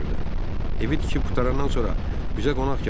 Evi tikib qurtarandan sonra bizə qonaq gəlin.